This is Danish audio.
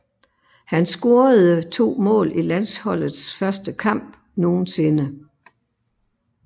Han scorede to mål i landsholdets første kamp nogensinde